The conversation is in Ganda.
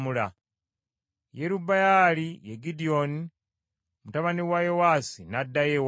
Yerubbaali ye Gidyoni mutabani wa Yowaasi, n’addayo ewaabwe.